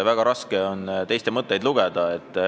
Väga raske on teiste mõtteid lugeda.